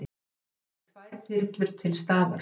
Ávallt verði tvær þyrlur til staðar